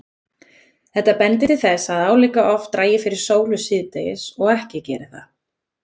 Þetta bendir til þess að álíka oft dragi fyrir sólu síðdegis og ekki geri það.